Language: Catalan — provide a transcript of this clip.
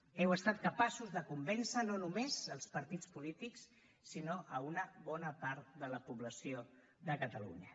heu estat capaços de convèncer no només els partits polítics sinó una bona part de la població de catalunya